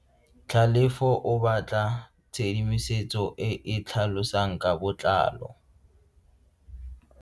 Tlhalefo o batla tshedimosetso e e tlhalosang ka botlalo.